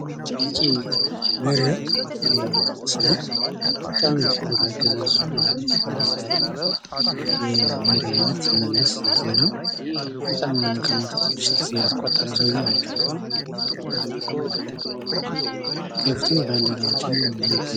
ታዋቂ መሪ ምስል ነው። በጣም ፊት አገዛዙ አሪፍ የሚባል የመሪ አይነት መለስ ዜናው ፤ በጣም አሁን ከሞተ ትንሽ ጊዜ ያስቆጠሩ ሰውዬ ናቸው። ከፊቱ ባንዲራዎችን ይዞ ይገኛል።